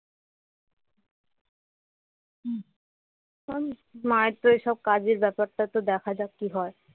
এখন মায়ের তো এই সব কাজের ব্যাপারটাতো দেখা যাক কি হয়